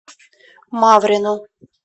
маврину